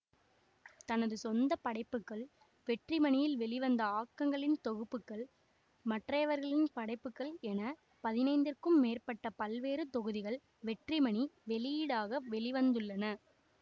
தனது சொந்தப்படைப்புகள் வெற்றிமணியில் வெளிவந்த ஆக்கங்களின் தொகுப்புகள் மற்றையவர்களின் படைப்புகள் என பதினைந்திற்கும் மேற்பட்ட பல்வேறு தொகுதிகள் வெற்றிமணி வெளியீடாக வெளி வந்துள்ளன